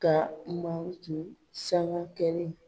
Ka Maliki sanga kɛlen